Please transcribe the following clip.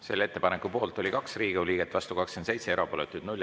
Selle ettepaneku poolt oli 2 Riigikogu liiget, vastu 27, erapooletuid 0.